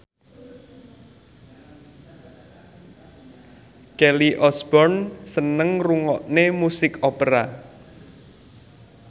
Kelly Osbourne seneng ngrungokne musik opera